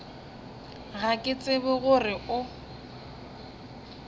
ga ke tsebe gore o